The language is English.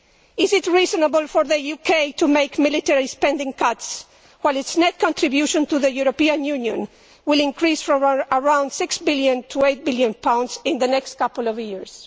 Is it reasonable for the UK to make military spending cuts while its net contribution to the European Union will increase from around GBP 6 billion to GBP 8 billion in the next couple of years?